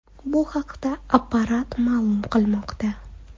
Bu haqda Apparat ma’lum qilmoqda .